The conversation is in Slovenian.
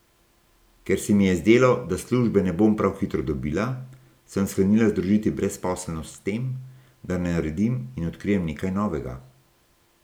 Ker se mi je zdelo, da službe ne bom prav hitro dobila, sem sklenila združiti brezposelnost s tem, da naredim in odkrijem nekaj novega.